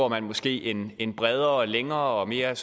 man måske en en bredere længere og mere